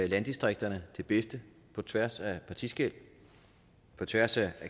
landdistrikterne det bedste på tværs af partiskel på tværs af